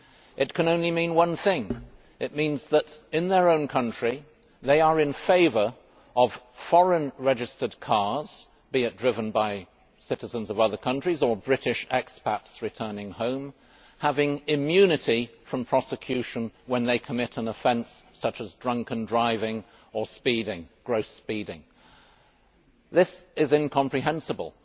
It can only mean one thing that in their own country they are in favour of foreign registered cars, be they driven by citizens of other countries or British expats returning home, having immunity from prosecution when they commit an offence such as drunken driving or gross speeding. This is incomprehensible.